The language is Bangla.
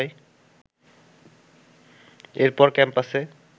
এরপর ক্যাম্পাসে